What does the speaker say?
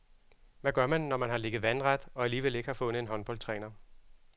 Hvad gør man, når man har ligget vandret og alligevel ikke fundet en håndboldtræner.